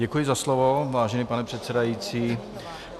Děkuji za slovo, vážený pane předsedající.